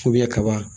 kaba